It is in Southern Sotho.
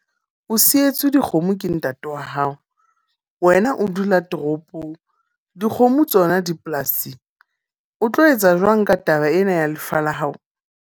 O sietswe dikgomo ke ntate wa hao. Wena o dula toropong. Dikgomo tsona di polasing. O tlo etsa jwang ka taba ena ya lefa la hao?